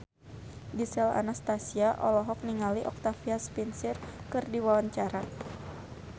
Gisel Anastasia olohok ningali Octavia Spencer keur diwawancara